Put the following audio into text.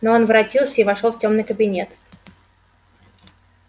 но он воротился и вошёл в тёмный кабинет